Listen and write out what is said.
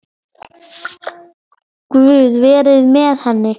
Guð veri með henni.